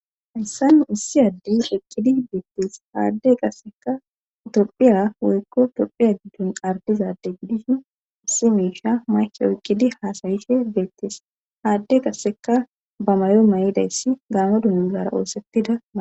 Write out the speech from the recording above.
Haysanu issi addi okqidi beettes haadde qasseka tophiya woykko tophiya giddon ardizade gidishu issi miisha mayke oyqqidi haasayise beettes haadde qasseka ba mayo may7idayssi gaamo dunuuzara oosettidaaa.